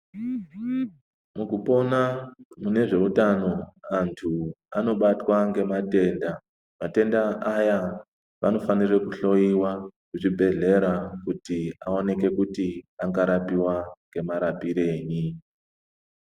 Mukupona mune zveutano antu anobatwa ngematenda matenda aya vanofana kuhloiwa kuzvibhehleya kuti awanike Kuti angarapiwa ngemarapirei.